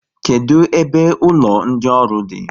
Kedụ ebe ụlọ ndị ọrụ di?